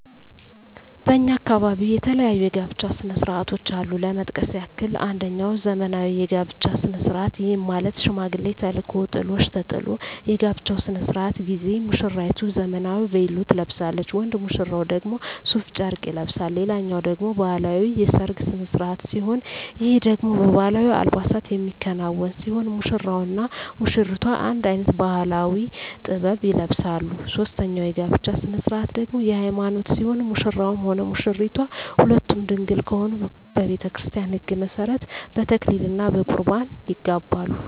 በእኛ አካባቢ የተለያዩ የጋብቻ ስነ ስርዓቶች አሉ ለመጥቀስ ያክል አንጀኛው ዘመናዊ የጋብቻ ስነ ስርዓት ይህም ማለት ሽማግሌ ተልኮ ጥሎሽ ተጥሎ የጋብቻው ስነ ስርዓት ጊዜ ሙስራይቱ ዘመናዊ ቬሎ ትለብሳለች ወንድ ሙሽራው ደግሞ ሡፍ ጨርቅ ይለብሳል ሌላኛው ደግሞ ባህላዊ የሰርግ ስነ ስርዓት ሲሆን ይህ ደግሞ በባህላዊ አልባሳት የሚከናወን ሲሆን ሙሽራው እና ሙሽሪቷ አንድ አይነት ባህላዊ(ጥበብ) ይለብሳሉ ሶስተኛው የጋብቻ ስነ ስርዓት ደግሞ የሀይማኖት ሲሆን ሙሽራውም ሆነ ሙሽራይቷ ሁለቱም ድንግል ከሆኑ በቤተክርስቲያን ህግ መሠረት በተክሊል እና በቁርባን ይጋባሉ።